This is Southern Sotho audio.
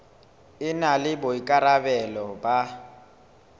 e na le boikarabelo ba